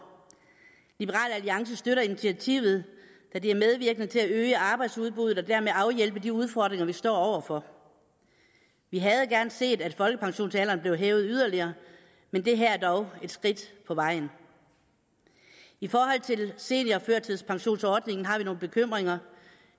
liberal alliance støtter initiativet da det er medvirkende til at øge arbejdsudbuddet og dermed afhjælpe de udfordringer vi står over for vi havde gerne set at folkepensionsalderen blev hævet yderligere men det her er dog et skridt på vejen i forhold til seniorførtidspensionsordningen har vi nogle bekymringer